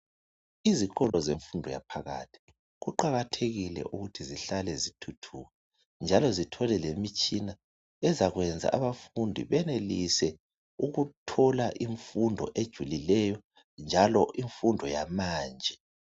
Izikolo zemfundo yaphakathi kuqakathekile ukuthi zihlale zithuthuka njalo zithole lemitshina ezakwenza abafundi benelise ukuthola imfundo ejulileyo njalo imfundo yamanje.